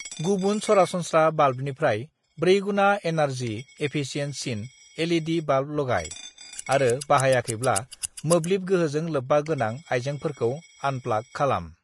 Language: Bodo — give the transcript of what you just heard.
"गुबुन सरासनस्रा बाल्बनिफ्राय ब्रैगुना एनार्जी एफिसियेन्टसिन एलईडी बाल्ब लागाय, आरो बाहायाखैब्ला मोब्लिब गोहोजों लोब्बा गोनां आयजेंफोरखौ आनप्लाग खालाम।"